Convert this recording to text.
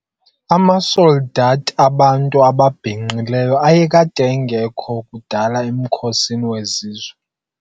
Amasoldathi abantu ababhinqileyo ayekade engekho kudala emkhosini wezizwe.